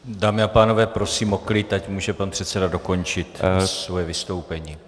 Dámy a pánové, prosím o klid, ať může pan předseda dokončit svoje vystoupení.